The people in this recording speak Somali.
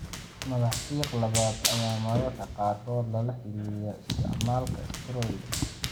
Madax fiiq labaad ayaa mararka qaarkood lala xiriiriyaa isticmaalka steroids.